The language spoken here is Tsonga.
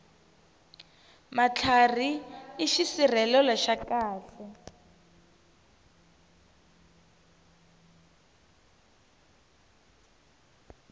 matlhari i xisirhelelo xa khale